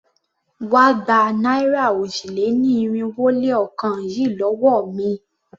Wá gba náírà òjì-lé-ní-irinwó-lé-ọ̀kan yìí lówó mi!